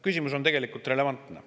Küsimus on tegelikult relevantne.